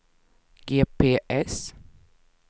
GPS